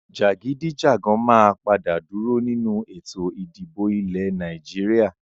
Jagidijagan máa padà dúró nínú Ètò ìdìbò ilẹ̀ Nàìjíríà.